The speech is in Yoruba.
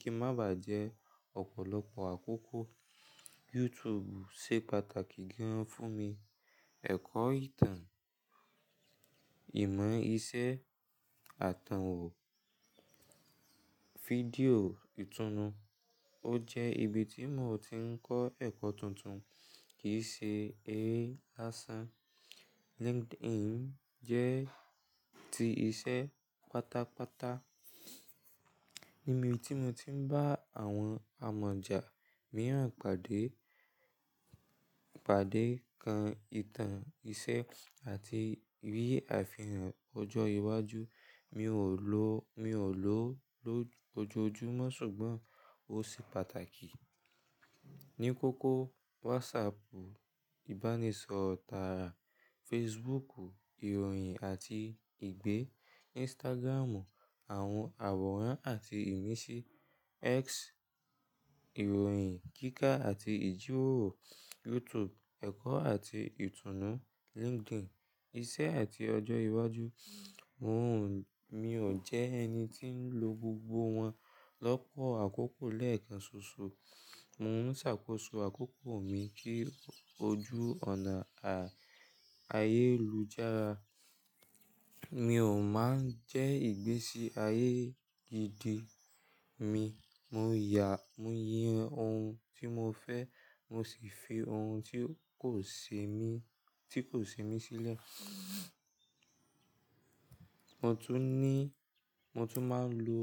kí ń má bà jẹ́ ọ̀pọ̀lọpọ̀ àkókò. YouTube ṣe pàtàkì gígan fún mi. Ẹ̀kọ́ ìtàn, ìmọ̀ ìṣe, àtànwò fídíò, ìtùnú. Ó jẹ́ ibi tí mò ti ń kọ́ ẹ̀kọ́ tuntun kì í ṣe eré lásán. LinkedIn jẹ́ ti iṣẹ́ pátápátá. Ni ibi tí mo ti ń bá àwọn amọ̀jà mìíràn pàdé, pàdé kan ìtàn iṣẹ́ àti rí àfihàn ọjọ́ iwájú. Mi ò lò, mi ò lò ó lójoojúmọ́ ṣùgbọ́n ó ṣe pàtàkì. Ni kókó WhatsApp ìbánisọ̀rọ̀ tààrà, Facebook ìròyìn àti ìgbé, Instagram àwọn àwòrán àti ìmísí, X ìròyìn kíkà àti ìjíròrò, YouTube ẹ̀kọ́ àti ìtùnú, LinkedIn iṣẹ́ àti ọjọ́ iwájú. Mo ò ń, mi ò jẹ́ ẹni tí ń lo gbogbo wọn lọ́pọ̀ àkókò lẹ́ẹ̀kan ṣoṣo. Mo ń ṣàkóso àkókò mi kí ojú ònà ayélujára mi ò máa ń jẹ́ ìgbésí ayé gidi mi. Mo yà, mo yan ohun tí mo fẹ́ mo sì fi ohun tí kò ṣe mí, tí kò ṣe mí sílẹ̀. Mo tún ní, mo tún máa ń lo